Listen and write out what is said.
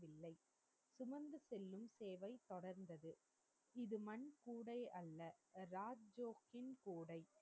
வில்லை சுமந்து செல்லும் சேவை தொடர்ந்தது இது மண் கூடை அல்ல ராஜ்ஜோக்கின் கூடை